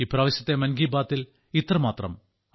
ഇപ്രാവശ്യത്തെ മൻ കി ബാത്തിൽ ഇത്രമാത്രം